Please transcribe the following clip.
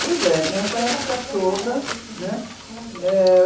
Pois é, nessa época toda, né? Eh... justamente nessa época. Maravilha.